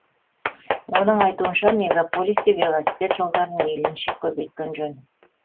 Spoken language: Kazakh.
оның айтуынша мегаполисте велосипед жолдарын мейлінше көбейткен жөн